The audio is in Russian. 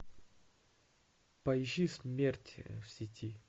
поищи смерть в сети